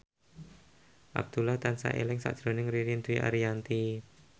Abdullah tansah eling sakjroning Ririn Dwi Ariyanti